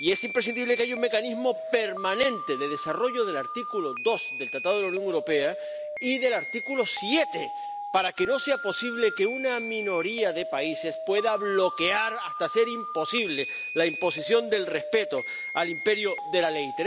Y es imprescindible que haya un mecanismo permanente de desarrollo del artículo 2 del Tratado de la Unión Europea y del artículo 7, para que no sea posible que una minoría de países pueda bloquear hasta hacer imposible la imposición del respeto al imperio de la ley.